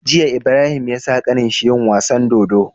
Jiya Ibrahim yasa kanin shi yin wasan dodo